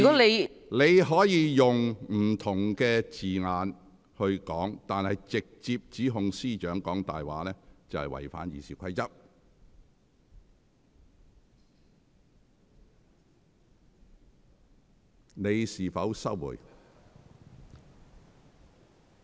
議員可使用其他措辭來表達，但直接指控司長"講大話"，則已違反《議事規則》。